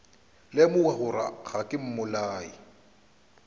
lemoga gore ga ke mmolai